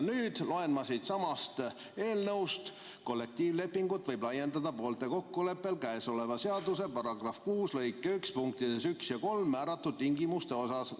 Nüüd loen ma siitsamast eelnõust: "Kollektiivlepingut võib laiendada poolte kokkuleppel käesoleva seaduse § 6 lõike 1 punktides 1 ja 3 määratud tingimuste osas.